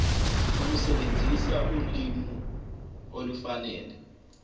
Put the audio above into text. ukusebenzisa ulimi olufanele